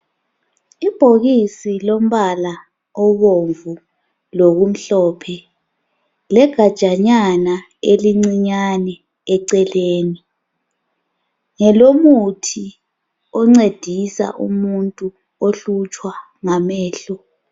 Ibhokisi lombala obomvu lokumhlophe, legajanyana elincinyane eceleni. Ngelomuthi oncedisa umuntu ohlutshwa ngamehlo.